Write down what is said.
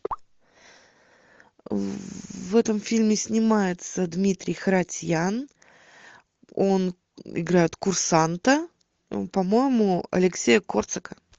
в этом фильме снимается дмитрий харатьян он играет курсанта по моему алексея корсака